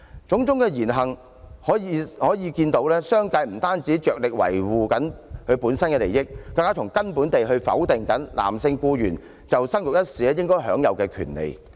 種種言行，可見商界不僅着力維護其自身利益，更是從根本地否定男性僱員在生育一事上享有權利。